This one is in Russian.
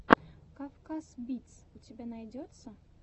кавказ битс у тебя найдется